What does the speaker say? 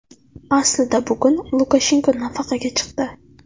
Aslida bugun Lukashenko nafaqaga chiqdi.